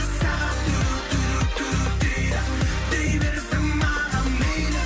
сағат дейді дей берсін маған мейлі